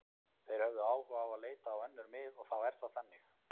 Þeir höfðu áhuga á að leita á önnur mið og þá er það þannig.